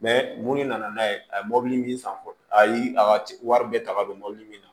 mun de nana n'a ye a ye mobili min san fɔ ayi a ka wari bɛɛ ta ka don mɔbili min na